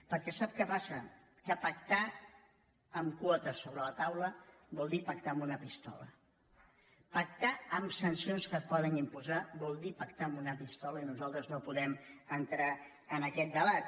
perquè sap què passa que pactar amb quotes sobre la taula vol dir pactar amb una pistola pactar amb sancions que et poden imposar vol dir pactar amb una pistola i nosaltres no podem entrar en aquest debat